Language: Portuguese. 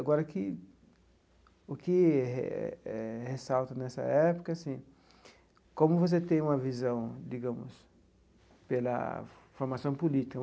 Agora, que o que ressalto nessa época assim como você tem uma visão, digamos, pela formação política.